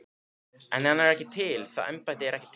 En hann er ekki til, það embætti er ekki til.